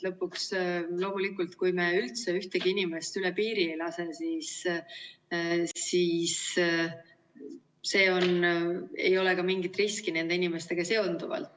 Lõpuks, kui me üldse ühtegi inimest üle piiri ei lase, siis ei ole ka mingit riski nende inimestega seonduvalt.